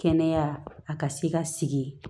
Kɛnɛya a ka se ka sigi